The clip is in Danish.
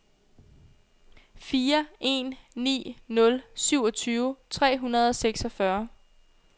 fire en ni nul syvogtyve tre hundrede og seksogfyrre